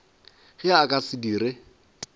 ge a ka se dire